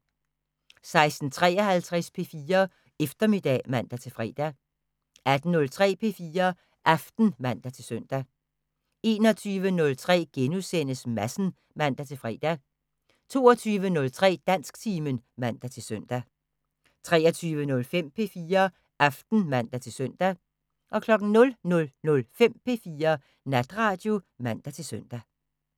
16:53: P4 Eftermiddag (man-fre) 18:03: P4 Aften (man-søn) 21:03: Madsen *(man-fre) 22:03: Dansktimen (man-søn) 23:05: P4 Aften (man-søn) 00:05: P4 Natradio (man-søn)